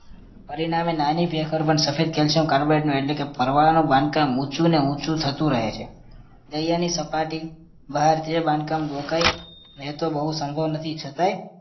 પરિણામે નાની ભેખડ પણ સફેદ calcium carbonate નો એટલે કે પરવાળાનું બાંધકામ ઊંચું ને ઊંચું થતું રહે છે. દરિયાની સપાટી બહારથી એ બાંધકામ રોકાય એ તો બોઉં સંભવ નથી છતાંય